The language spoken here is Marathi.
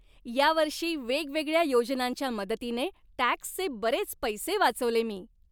या वर्षी वेगवेगळ्या योजनांच्या मदतीने टॅक्सचे बरेच पैसे वाचवले मी.